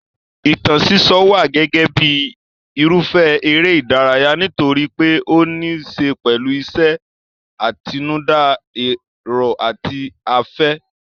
Ìtàn sísọ wà gẹ́gẹ́ bíi irúfẹ́ eré ìdárayá nítorí pé ó níí ṣe pẹ̀lú ìṣe àtinúdá, èrò àti afẹ́.